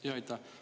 Aitäh!